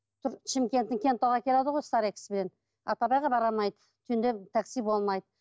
шымкенттен кентауға келеді ғой бара алмайды түнде такси болмайды